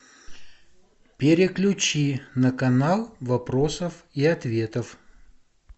переключи на канал вопросов и ответов